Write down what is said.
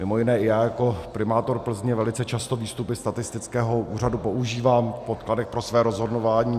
Mimo jiné i já jako primátor Plzně velice často výstupy statistického úřadu používám v podkladech pro své rozhodování.